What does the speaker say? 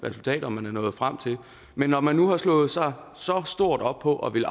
resultater man er nået frem til men når man nu har slået sig så stort op på at ville